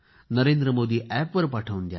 नरेंद्र मोदी अॅपवर पाठवून द्या